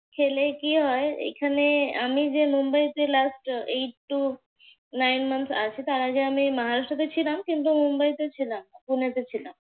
খেলে কি হয়। এখানে আমি যে মুম্বাইতে last eight to nine months আছি তার আগে আমি মহারাষ্ট্রতে ছিলাম কিন্তু মুম্বাইতে ছিলাম না। পুনেতে ছিলাম।